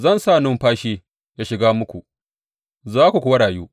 Zan sa numfashi ya shiga muku, za ku kuwa rayu.